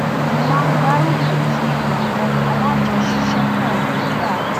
mo máa ń gbárùkù tí àwọn alájọṣiṣẹpọ nígbà